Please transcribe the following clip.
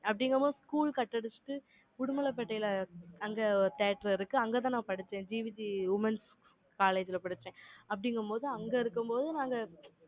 அப்படிங்கும்போது, school cut அடிச்சிட்டு, உடுமலைப்பேட்டையில, அங்க ஒரு theatre இருக்கு. அங்கதான் நான் படிச்சேன். GVTwomen's college ல படிச்சேன். அப்படிங்கும்போது, அங்க இருக்கும்போது,